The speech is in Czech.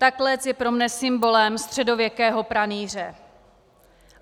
Ta klec je pro mne symbolem středověkého pranýře.